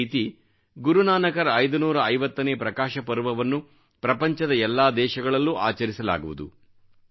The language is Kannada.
ಇದೇ ರೀತಿ ಗುರುನಾನಕರ 550ನೇ ಪ್ರಕಾಶಪರ್ವವನ್ನು ಪ್ರಪಂಚದ ಎಲ್ಲಾ ದೇಶಗಳಲ್ಲೂ ಆಚರಿಸಲಾಗುವುದು